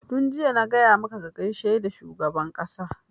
Tun jiya na gaya maka ka gaishe da shugaban ƙasa!